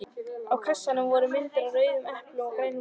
Á kassanum voru myndir af rauðum eplum og grænum laufum.